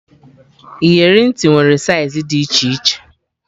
Iyeri ntị nwere saiz dị iche iche